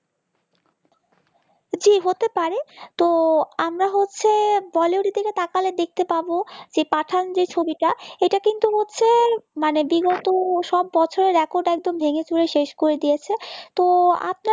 জি হতে পারে তো আমরা হচ্ছে বলিউডের দিকে তাকালে দেখতে পাবো যে পাঠান যে ছবিটা এটা কিন্তু হচ্ছে মানে বিগত সব বছরের রেকর্ড একদম ভেঙেচুরে শেষ করে দিয়েছে তো আপনার